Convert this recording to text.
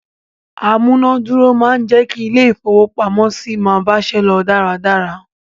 Amúná-dúró máa ń jẹ́ kí ilé-ìfowópamọ́sí máa báṣẹ́ lọ dáradára.